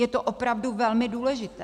Je to opravdu velmi důležité.